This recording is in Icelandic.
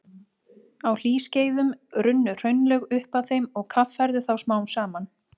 Á hlýskeiðum runnu hraunlög upp að þeim og kaffærðu þá smám saman.